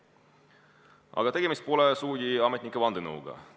Aga tegemist pole sugugi ametnike vandenõuga.